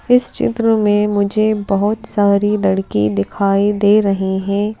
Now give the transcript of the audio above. इस चित्र में मुझे बहुत सारी लड़की दिखाई दे रही हैं।